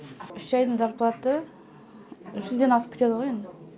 үш айдың зарплаты үш жүзден асып кетеді ғой енді